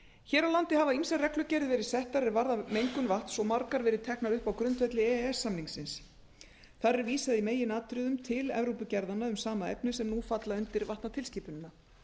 hér á landi hafa ýmsar reglugerðir verið settar er varða mengun vatns og margar verið teknar upp á grundvelli e e s samningsins þar er vísað í meginatriðum til evrópugerðanna um sama efni sem nú falla undir vatnatilskipunina